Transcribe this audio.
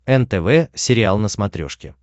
нтв сериал на смотрешке